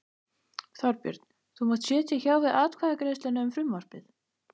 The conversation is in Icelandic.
Þorbjörn: Þú munt sitja hjá við atkvæðagreiðsluna um frumvarpið?